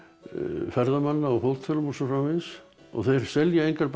ferðamanna á hótelum og svo framvegis þeir selja engar bækur